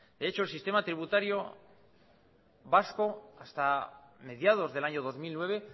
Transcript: de hecho el sistema tributario vasco hasta mediados del año dos mil nueve